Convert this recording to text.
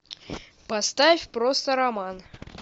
поставь просто роман